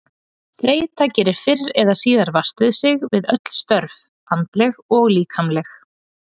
Þreyta gerir fyrr eða síðar vart við sig við öll störf, andleg og líkamleg.